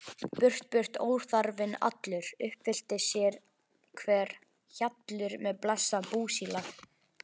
Burt burt óþarfinn allur, uppfyllist sérhver hjallur með blessað búsílag.